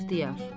İxtiyar.